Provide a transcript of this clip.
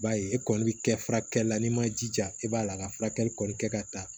B'a ye e kɔni bɛ kɛ furakɛli la n'i ma jija i b'a la ka furakɛli kɔni kɛ ka taa